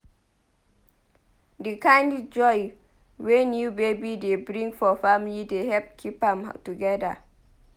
Di kind joy wey new baby dey bring for family dey help keep am together.